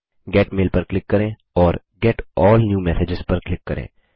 gate mail पर click करें और गेट अल्ल न्यू मेसेजेज पर क्लिक करें